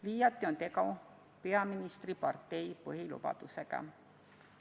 Liiati on tegu peaministripartei põhilubadusega.